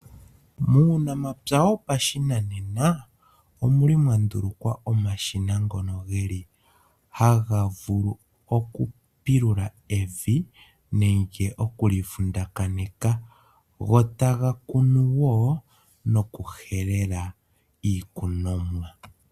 Muunamapya wopashinanena ,omwa ndulukwa omashina ngono haga vulu okupilula evi nenge oku li vundakanitha, go taga kunu wo nokuhelela iikunomwa.